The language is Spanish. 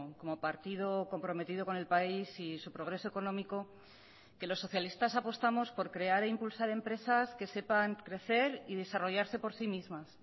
como partido comprometido con el país y su progreso económico que los socialistas apostamos por crear e impulsar empresas que sepan crecer y desarrollarse por sí mismas